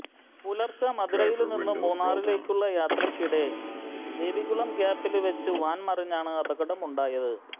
പുലര്ച്ചെ മധുരയില് നിന്നും മൂന്നാറിലേക്കുള്ള യാത്രയ്ക്കിടെമദേവികുളം ഗ്യാപ്പില് വെച്ച് വാന് മറിഞ്ഞാണ് അപകടമുണ്ടായത്